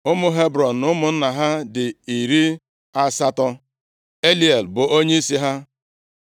Ụmụ Hebrọn na ụmụnna ha dị iri asatọ. (80) Eliel bụ onyeisi ha.